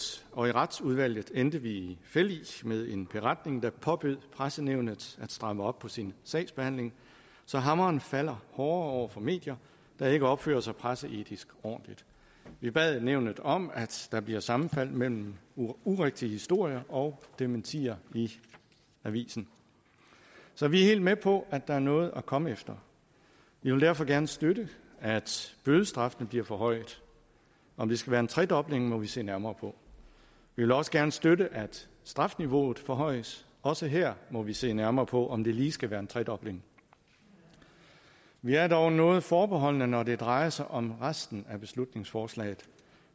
og i retsudvalget endte vi i fællig med en beretning der påbød pressenævnet at stramme op på sin sagsbehandling så hammeren falder hårdere over for medier der ikke opfører sig presseetisk ordentligt vi bad nævnet om at der bliver sammenfald mellem urigtige historier og dementier i avisen så vi er helt med på at der er noget at komme efter vi vil derfor gerne støtte at bødestraffene bliver forhøjet om det skal være en tredobling må vi se nærmere på vi vil også gerne støtte at strafniveauet forhøjes også her må vi se nærmere på om det lige skal være en tredobling vi er dog noget forbeholdne når det drejer sig om resten af beslutningsforslaget